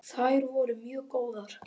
Þær voru mjög góðar.